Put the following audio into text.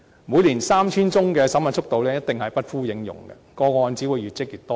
每年 3,000 宗的審核速度，一定不敷應用，個案只會越積越多。